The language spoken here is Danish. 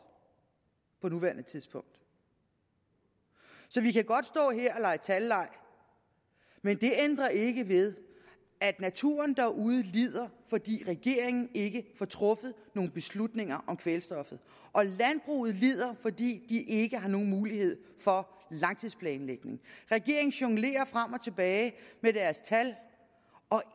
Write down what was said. på nuværende tidspunkt så vi kan godt stå her og lege talleg men det ændrer ikke ved at naturen derude lider fordi regeringen ikke får truffet nogen beslutninger om kvælstoffet og landbruget lider fordi de ikke har nogen mulighed for langtidsplanlægning regeringen jonglerer frem og tilbage med deres tal og